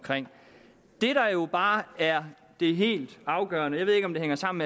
det der jo bare er det helt afgørende jeg ved ikke om det hænger sammen